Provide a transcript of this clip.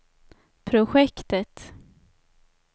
projektet